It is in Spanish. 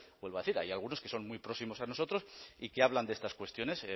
vuelvo a decir hay algunos que son muy próximos a nosotros y que hablan de estas cuestiones